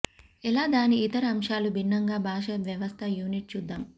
ఎలా దాని ఇతర అంశాలు భిన్నంగా భాష వ్యవస్థ యూనిట్ చూద్దాం